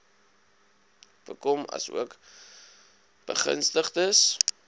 bekom asook begunstigdes